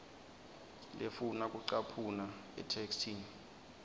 lefuna kucaphuna etheksthini